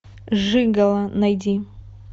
жигало найди